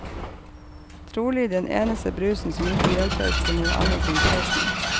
Trolig den eneste brusen som ikke hjelper for noe annet enn tørsten.